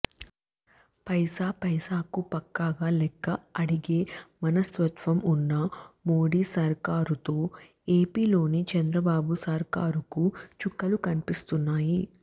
పైసా పైసాకు పక్కాగా లెక్క అడిగే మనస్తత్వం ఉన్న మోడీ సర్కారుతో ఏపీలోని చంద్రబాబు సర్కారుకు చుక్కలు కనిపిస్తున్నాయి